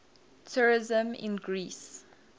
tourism in greece